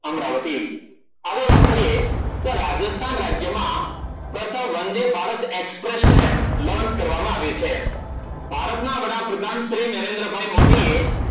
અમરાવતી આવો વાત કરીયે રાજસ્થાન રાજ્યમાં વંદે ભારત Express train કરવામાં આવી છે ભારતના વડાપ્રધાન શ્રી નરેન્દ્રભાઈ મોદી એ